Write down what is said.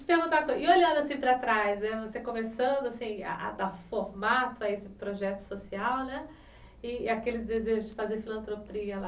E olhando para trás, você começando a dar formato a esse projeto social, né, e aquele desejo de fazer filantropia lá